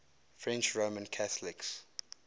french roman catholics